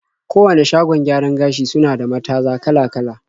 Kowane shagon gyaran gashi suna da mataza kala-kala.